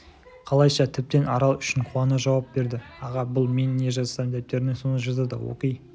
қалайша тіптен арал үшін қуана жауап берді аға бұл мен не жазсам дәптеріне соны жазады оқи